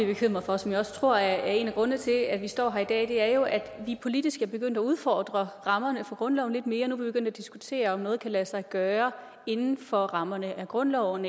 bekymret for og som jeg også tror er en af grundene til at vi står her i dag er jo at vi politisk er begyndt at udfordre rammerne for grundloven lidt mere nu begyndt at diskutere om noget kan lade sig gøre inden for rammerne af grundloven